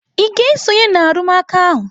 Ị ga-esonye na arụmụka ahụ?